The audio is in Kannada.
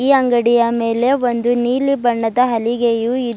ಈ ಅಂಗಡಿಯ ಮೇಲೆ ಒಂದು ನೀಲಿ ಬಣ್ಣದ ಹಲಿಗೆಯು ಇ--